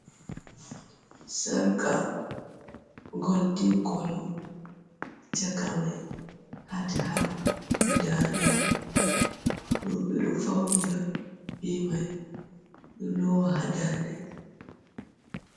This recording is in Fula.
Sarga, golden colour. Caka mai heart heart guda nay. Rewɓe ɗo fawnira bee mai, ɗo loawa haa daande.